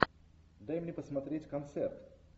дай мне посмотреть концерт